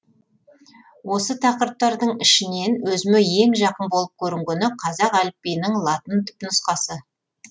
осы тақырыптардың ішінен өзіме ең жақын болып көрінгені қазақ әліпбиінің латын түпнұсқасы